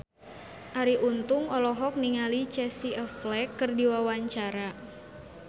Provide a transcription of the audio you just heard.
Arie Untung olohok ningali Casey Affleck keur diwawancara